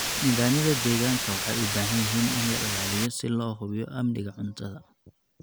Nidaamyada deegaanka waxay u baahan yihiin in la ilaaliyo si loo hubiyo amniga cuntada.